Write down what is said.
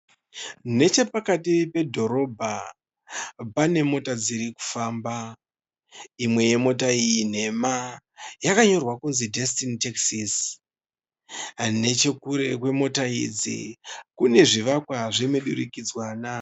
Nechepakiti pedhorobha pane mota dzirikufamba. Imwe yemota iyi nhema yakanyorwa kuti Destiny Taxis. Nechekure kwemota idzi kune zvivakwa zvemidurikidzanwa.